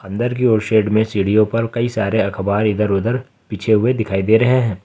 अंदर की ओर शेड में सीढ़ियों पर कई सारे अखबार इधर उधर बिछे हुए दिखाई दे रहे हैं।